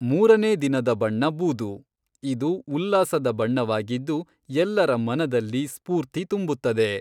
ಮೂರನೇ ದಿನದ ಬಣ್ಣ ಬೂದು, ಇದು ಉಲ್ಲಾಸದ ಬಣ್ಣವಾಗಿದ್ದು ಎಲ್ಲರ ಮನದಲ್ಲಿ ಸ್ಪೂರ್ತಿ ತುಂಬುತ್ತದೆ.